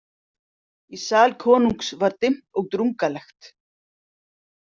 Í sal konungs var dimmt og drungalegt.